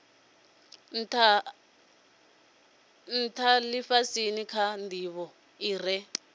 ntha lifhasini kha ndivho ire